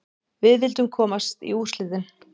Við vildum komast í úrslitin.